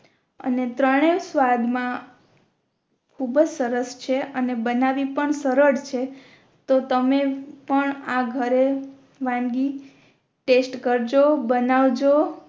અને ત્રણે સ્વાદ મા ખૂબ અજ સરસ છે અને બનાવી પણ સરળ છે તો તમે પણ આ ઘરે વાનગી ટેસ્ટ કરજો બાનવજો